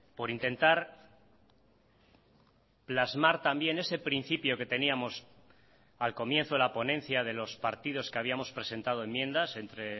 por intentar plasmar también ese principio que teníamos al comienzo de la ponencia de los partidos que habíamos presentado enmiendas entre